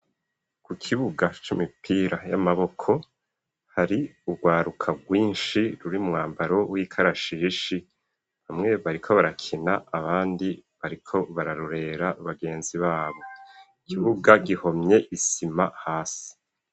Ku kibuga cimipira y'amaboko hari ugwaruka gwinshi ruri mu mwambaro w'ikarashishi bamwe bariko barakina abandi bariko bararorera bagenzi babo ikibuga gihomye isima hasi.